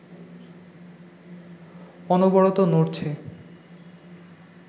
অনবরত নড়ছে